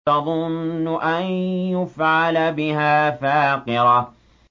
تَظُنُّ أَن يُفْعَلَ بِهَا فَاقِرَةٌ